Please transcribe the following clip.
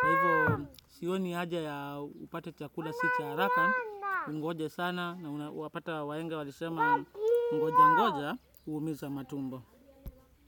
Kwa hivo sioni haja ya upate chakula si cha haraka ungoje sana wapata wahenga walisema ngoja ngoja huumiza matumbo.